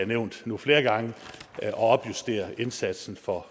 nævnt nu flere gange at opjustere indsatsen for